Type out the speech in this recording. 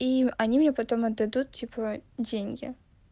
и они мне потом отдадут типа деньги